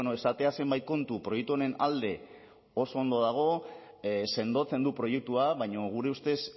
esatea zenbait kontu proiektu honen alde oso ondo dago sendotzen du proiektua baina gure ustez